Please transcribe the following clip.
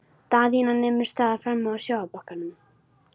Daðína nemur staðar frammi á sjávarbakkanum.